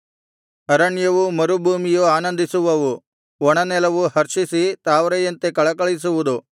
ಅರಣ್ಯವೂ ಮರುಭೂಮಿಯೂ ಆನಂದಿಸುವವು ಒಣನೆಲವು ಹರ್ಷಿಸಿ ತಾವರೆಯಂತೆ ಕಳಕಳಿಸುವುದು